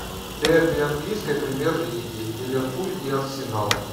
дерби английской премьер лиги ливерпуль и арсенал